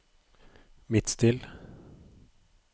Midtstill